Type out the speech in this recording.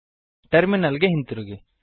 terminal ಗೆ ಹಿಂತಿರುಗಿ